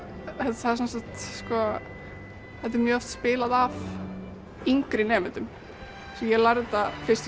það er sem sagt þetta er mjög oft spilað af yngri nemendum svo ég lærði þetta fyrst í